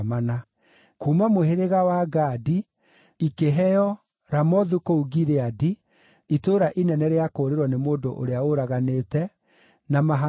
kuuma mũhĩrĩga wa Gadi, ikĩheo Ramothu kũu Gileadi (itũũra inene rĩa kũũrĩrwo nĩ mũndũ ũrĩa ũraganĩte), na Mahanaimu,